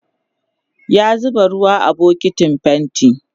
ya zuba ruwa a bukitin fainti